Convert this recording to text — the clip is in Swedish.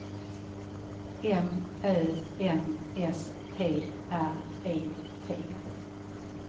M Ö N S T R E T